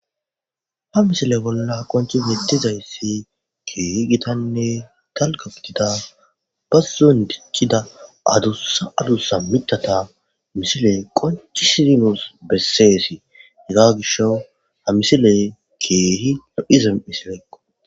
ha misile bolla qonchi yedtizayssi keehi gitanne talgafutida ba zuun dikkida adussa adusa mitata misile qonchi sidinos besseesi hega gisho ha misile keehi lopizam isileeqqo